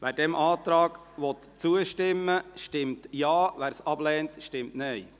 Wer dem Antrag zustimmen will, stimmt Ja, wer dies ablehnt, stimmt Nein.